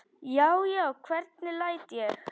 Já, já, hvernig læt ég!